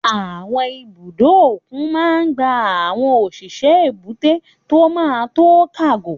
Àwọn ibùdó òkun máa n gba àwọn òṣìṣẹ́ èbúté tó máa n to kágò